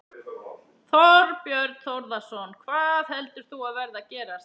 Þorbjörn Þórðarson: Hvað heldur þú að verði að gerast?